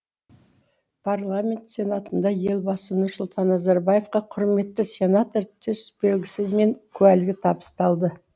парламент сенатында елбасы нұрсұлтан назарбаевқа құрметті сенатор төсбелгісі мен куәлігі табысталды